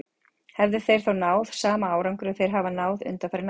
Hefðu þeir þá hafa náð sama árangri og þeir hafa náð undanfarin ár?